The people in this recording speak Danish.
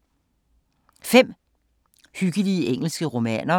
5 hyggelige engelske romaner